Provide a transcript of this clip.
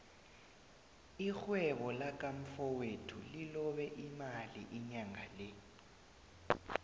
irhwebo laka mfowethu lilobe imali inyangale